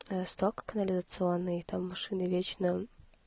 сток канализационные там машины вечно